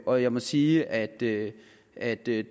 og jeg må sige at det at det